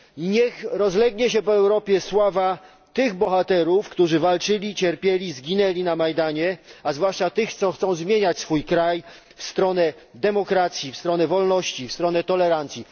Niech rozlegnie się po Europie sława tych bohaterów, którzy walczyli, cierpieli i zginęli na Majdanie, a zwłaszcza tych, co chcą zmieniać swój kraj w stronę demokracji, w stronę wolności, w stronę tolerancji.